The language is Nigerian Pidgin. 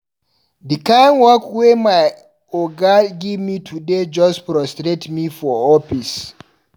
Di kind work wey my oga give me today just frustrate me for office.